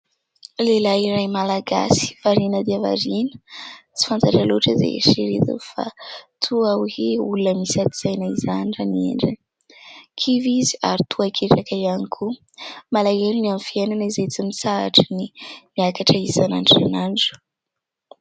Lehilahy iray malagasy variana dia variana, tsy fantatra loatra izay eritreretiny fa toa hoe olona misy ady saina izany raha ny endriny, kivy izy ary toa ketraka ihany koa malahelo ny amin'ny fiainana izay tsy mitsahatry ny miakatra isan'andro isan'andro.